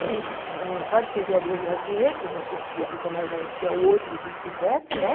E a gente não pode servir a Deus e ao dinheiro, porque você se dedica mais a um do que ao outro e vice-versa, né?